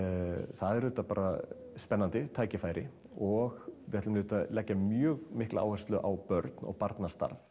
það er auðvitað bara spennandi tækifæri og við ætlum auðvitað leggja mjög mikla áherslu á börn og barnastarf